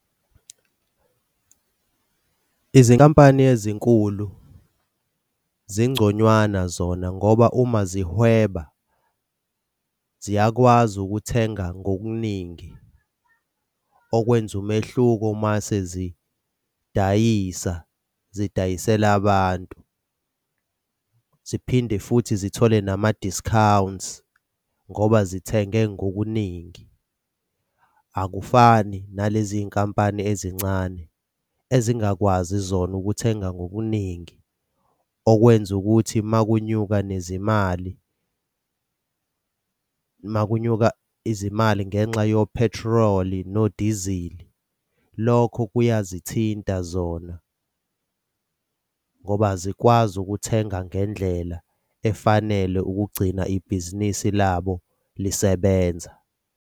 Izinkampani ezinkulu zingconywana zona ngoba uma zihweba ziyakwazi ukuthenga ngokuningi okwenza umehluko masezidayisa zidayisela abantu ziphinde futhi zithole nama-discounts ngoba zithenge ngokuningi. Akufani nalezi y'nkampani ezincane ezingakwazi zona ukuthenga ngobuningi okwenza ukuthi uma kunyuka nezimali uma kunyuka izimali ngenxa yophethroli nodizili, lokho kuyazithinta zona ngoba azikwazi ukuthenga ngendlela efanele ukugcina ibhizinisi labo lisebenza.